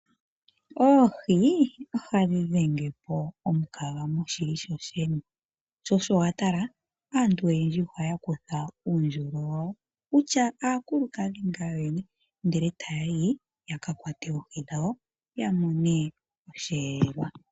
Oohi ohadhi dhengepo omukaga moshili shoshene. Aantu oyendji ohaya kutha uundjolo wawo kutya aakulukadhi ya kakwatwe oohi dhawo yamone osheelelwa.